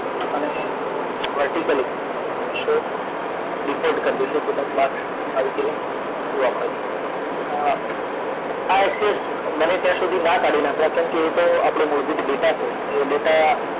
અને vertically show default કરી દેશું તો તમને આવી રીતે જોવા મળે છે અ આ access બને ત્યાં સુધી ના કાઢી નાખવા કેમ કે એ તો આપણાં મૂળભૂત ડેટા છે તે ડેટા